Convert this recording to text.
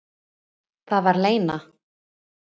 Það var Lena.